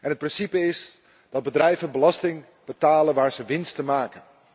Het principe is dat bedrijven belasting betalen waar ze winsten maken.